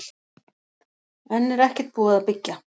Enn er ekkert búið að byggja